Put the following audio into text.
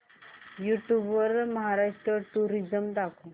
YouTube वर Maharashtra tourism दाखव